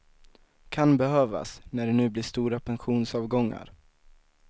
Kan behövas, när det nu blir stora pensionsavgångar.